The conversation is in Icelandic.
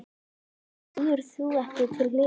Af hverju stígur þú ekki til hliðar?